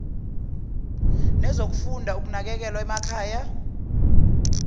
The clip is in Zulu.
nezokufunda ukunakekelwa emakhaya